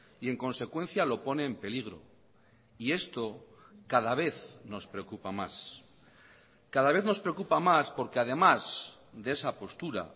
y en consecuencia lo pone en peligro y esto cada vez nos preocupa más cada vez nos preocupa más porque además de esa postura